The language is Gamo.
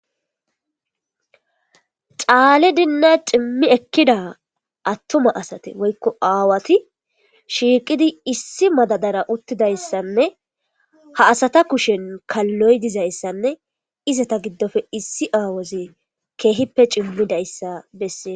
Caalidinne cimi ekida attuma asati woykko aawati shiiqidi issi madadara uttidaysssane;Ha asata kushshen kaloy dizayssanne izata gidoppe issi aawazi keehippe cimidayssa besees.